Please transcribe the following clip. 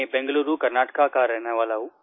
मैं बेंगलूरू कर्नाटका का रहने वाला हूँ